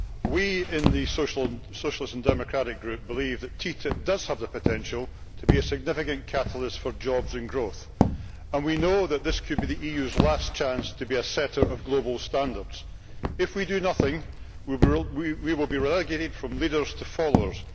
We in the Socialist and Democratic Group believe that TTIP does have the potential to be a significant catalyst for jobs and growth, and we know that this could be the EU's last chance to be a setter of global standards. If we do nothing we will be relegated from leaders to followers